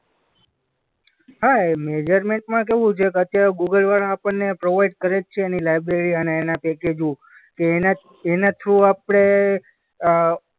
હા એ મેજરમેન્ટમાં કેવું છે કે અત્યારે ગૂગલ વળા આપણને પ્રોવાઈડ કરે જ છે એની લાયબ્રેરી અને એના પેકેજો કે એના જ, એના થ્રુ આપણે અ